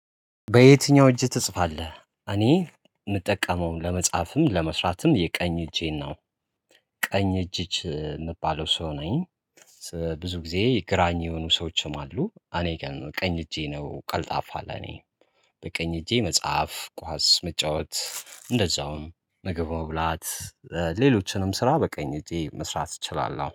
በየትኛው? እጅህ ትጽፋለህ እኔ የምጠቀመውም ለመጻፍም ለመስራትም የቀኝ እጄን ነው ቀኝ እጅ የምባለው ሰው ነኝ። ብዙ ጊዜ ግራኝ የሆኑ ሰዎችም አሉ። እኔ ቀኝ እጄ ነው ቀልጣፋ አለ። እኔ በቀኝ እጄ መጽሐፍ ኳስ መጫወት እንደዛውም ምግብ ብላት ሌሎችንም ስራ በቀኝ እጄ መስራት እችላለሁ